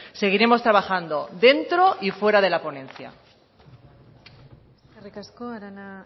seguiremos trabajando dentro y fuera de la ponencia eskerrik asko arana